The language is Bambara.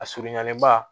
A surunyanen ba